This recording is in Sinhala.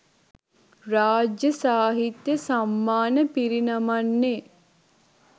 රාජ්‍ය සාහිත්‍ය සම්මාන පිරිනමන්නේ